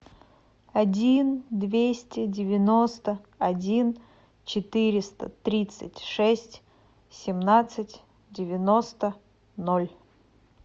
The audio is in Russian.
один двести девяносто один четыреста тридцать шесть семнадцать девяносто ноль